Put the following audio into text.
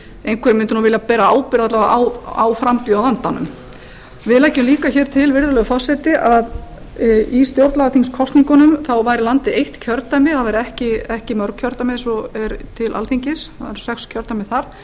einhver mundi vilja bera ábyrgð alla vega á frambjóðandanum við leggjum líka til virðulegur forseti að í stjórnlagaþingskosningunum væri landið eitt kjördæmi það væri ekki mörg kjördæmi eins og er til alþingis það eru sex kjördæmi þar